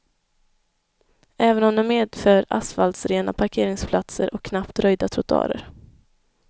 Även om det medför asfaltrena parkeringsplatser och knappt röjda trottoarer.